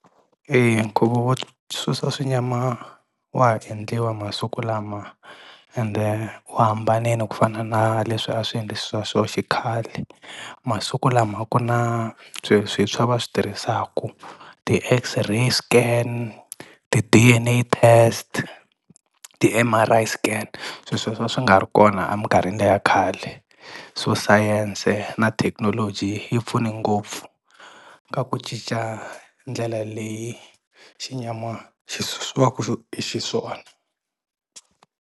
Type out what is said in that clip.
nkhuvo wo susa xinyama wa ha endliwa masiku lama, ende wu hambanile ku fana na leswi a swi endlisiwa swo xikhale. Masiku lama ku na swi swa va swi tirhisaku ti-X-ray scan, ti-D_N_A test, ti-M_R_I scan, sweswo swi nga ri kona amikarhini le ya khale. So science na thekinoloji yi pfune ngopfu ka ku cica ndlela leyi xinyama xi susiwaku hi xiswona.